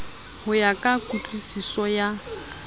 ho ya ka kutlwusiso ya